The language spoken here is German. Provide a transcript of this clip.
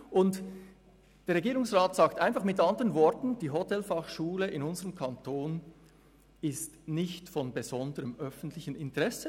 Der Regierungsrat sagt einfach mit anderen Worten, in unserem Kanton sei die Hotelfachschule nicht von besonderem öffentlichem Interesse.